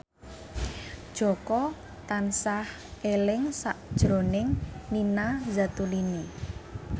Jaka tansah eling sakjroning Nina Zatulini